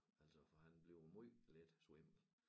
Altså for han bliver jo måj let svimmel